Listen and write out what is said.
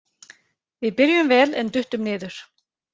Við byrjuðum vel en duttum niður.